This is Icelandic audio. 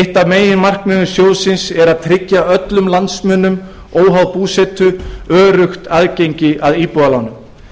eitt af meginmarkmiðum sjóðsins er að tryggja öllum landsmönnum óháð búsetu öruggt aðgengi að íbúðalánum